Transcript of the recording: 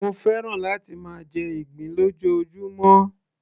mo fẹ́ràn láti máa jẹ ìgbín lójoojúmó